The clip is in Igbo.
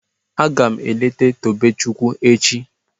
Agam eleta Tobechukwu echi